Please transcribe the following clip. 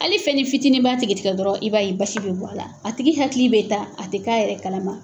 Hali fɛnnin fitinin b'a tigi tigɛ dɔrɔn i b'a ye basi bɛ bɔ a la, a tigi hakili bɛ taa a tɛ k'a yɛrɛ kalama.